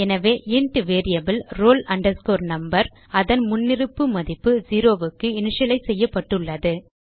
எனவே int variable roll number அதன் முன்னிருப்பு மதிப்பு செரோ க்கு இனிட்டிட்டலைஸ் செய்யப்பட்டுள்ளது